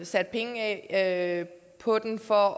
sat penge af på den for